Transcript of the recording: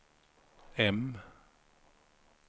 M